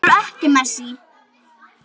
Af hverju ekki Messi?